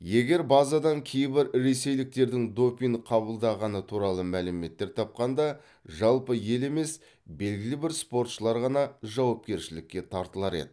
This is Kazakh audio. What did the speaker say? егер базадан кейбір ресейліктердің допинг қабылдағаны туралы мәліметтер тапқанда жалпы ел емес белгілі бір спортшылар ғана жауапкершілікке тартылар еді